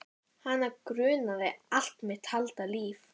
Hana grunaði allt mitt falda líf.